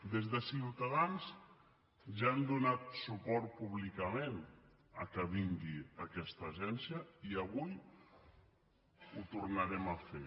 des de ciutadans ja hem donat suport públicament que vingui aquesta agència i avui ho tornarem a fer